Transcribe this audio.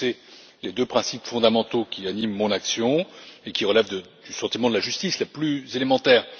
Vous connaissez les deux principes fondamentaux qui animent mon action et qui relèvent du sentiment de la justice la plus élémentaire.